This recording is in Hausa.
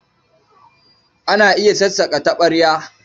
Ana iya sassaƙa taɓarya.